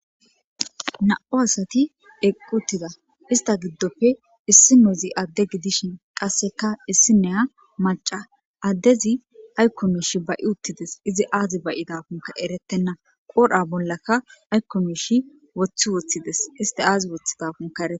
na7u asati eqquttida ista giddofe issi nezi adde gidishin qasseka issi neya maca addezi aykkomishi ba7i uttides izi aazi bayidakonka eretenna qoodha bollaka aykkomishi woththi woththides isti aazi woththidakona ereke